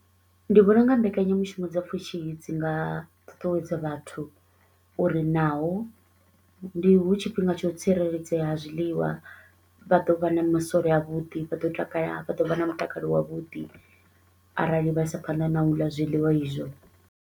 Ndi vhona u nga mbekanyamushumo dza pfushi dzi nga ṱuṱuwedza vhathu uri naho ndi hu tshifhinga tsha u tsireledzea ha zwiḽiwa vha ḓo vha na masole a vhuḓi, vha ḓo takala vha ḓo vha na mutakalo wavhuḓi arali vha isa phanḓa na u ḽa zwiḽiwa izwo.